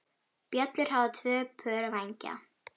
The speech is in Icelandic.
Bjöllur hafa tvö pör vængja.